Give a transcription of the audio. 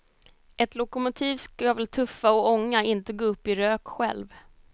Ett lokomotiv ska väl tuffa och ånga, inte gå upp i rök själv.